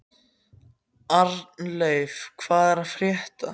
Arnleif, hvað er að frétta?